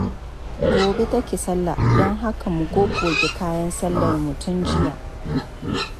Gobe take sallah, don haka mun goge kayan sallarmu tun jiya.